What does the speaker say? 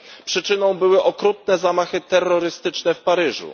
przyczyną były okrutne zamachy terrorystyczne w Paryżu.